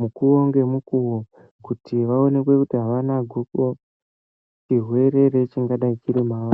mukuwo ngemukuwo kuti aonekwe kuti havana gubo chirwere chingadai chiri mavari.